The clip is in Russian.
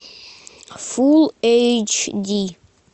фул эйч ди